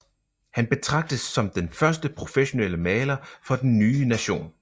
Han betragtes som den første professionelle maler for den nye nation